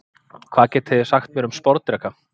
Hvað getið þið sagt mér um sporðdreka?